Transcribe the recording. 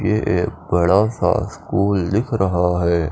यह एक बड़ा सा स्कूल दिख रहा है।